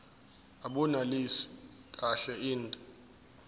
abunelisi kahle inde